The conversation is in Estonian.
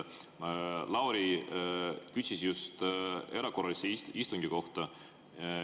Lauri küsis just erakorralise istungi kohta.